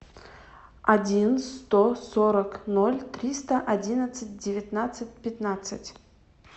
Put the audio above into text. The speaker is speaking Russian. один сто сорок ноль триста одиннадцать девятнадцать пятнадцать